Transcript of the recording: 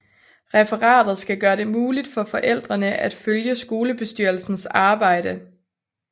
Referatet skal gøre det muligt for forældrene at følge skolebestyrelsens arbejde